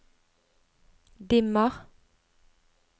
dimmer